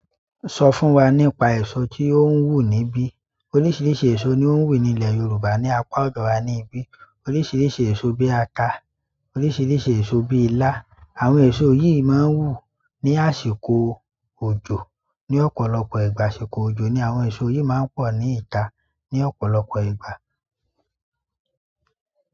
Sọ fún wa nípa èso tí ó ń wù níbí. Oríṣiríṣi èso ni ó ń wù ní ilẹ̀ Yorùbá ní apá ọ̀dọ̀ wa níbí. Oríṣiríṣi èso bí àtà, oríṣiríṣi èso bí ilá. Àwọn èso yìí máa ń wù ní àsìkò òjò. Ni ọ̀pọ̀lọpọ̀ ìgbà àsìkò ojo ni àwọn èso yìí máa ń pọ̀ ní ìta. Ni ọ̀pọ̀lọpọ̀ ìgbà.